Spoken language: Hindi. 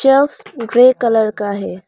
यह ग्रे कलर का है।